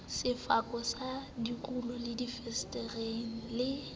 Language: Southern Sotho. sefako sa dikulo difensetereng le